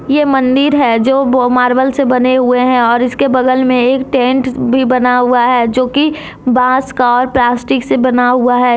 ये मंदिर है जो वो मार्बल से बने हुए हैं और इसके बगल में एक टेंट भी बना हुआ है जो की बांस का और प्लास्टिक से बना हुआ है।